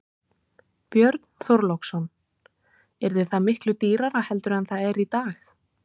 Björn Þorláksson: Yrði það miklu dýrara heldur en það er í dag?